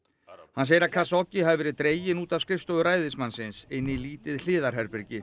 hann segir að hafi verið dreginn út af skrifstofu ræðismannsins inn í lítið hliðarherbergi